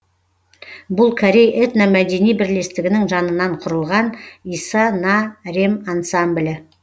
бұл корей этномәдени бірлестігінің жанынан құрылған иса на рем ансамблі